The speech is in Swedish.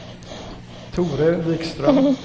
Tore Wikström